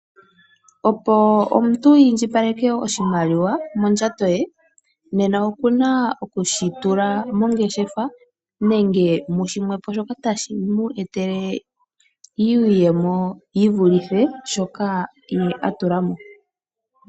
Opo omuntu iindjipaleke oshimaliwa mondjato ye nena oku na oku shi tula mongeshefa nenge mu shimwe po shoka tashi mu etele iiyemo yi vulithe shoka ye a tula mo.